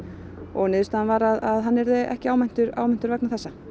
og niðurstaðan var að hann yrði ekki áminntur áminntur vegna þessa